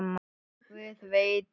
Guð veit hvað!